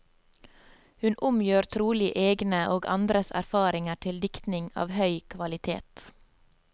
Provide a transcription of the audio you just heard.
Hun omgjør trolig egne og andres erfaringer til diktning av høy kvalitet.